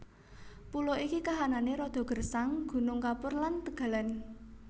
Pulo iki kahanané rada gersang gunung kapur lan tegalan